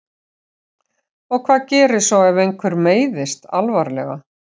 Og hvað gerist svo ef einhver meiðist alvarlega?